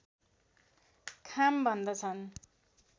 खाम भन्दछन्